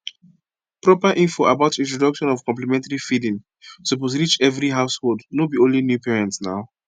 proper info about introduction of complementary feedingsuppose reach every householdno be only new parents naw